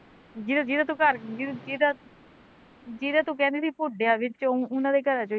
ਜਿਦਾਂ ਜਿਦਾਂ ਜਿਦਾਂ ਤੂੰ ਘਰ ਜਿਦਾਂ ਜਿਦਾਂ ਤੂੰ ਕਹਿੰਦੀ ਤੀ ਪੁਢਿਆ ਵਿੱਚੋਂ ਉਹਨਾਂ ਦੇ ਘਰ ਚੋ ਈ